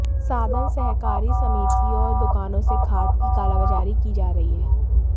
साधन सहकारी समितियों और दुकानों से खाद की कालाबाजारी की जा रही है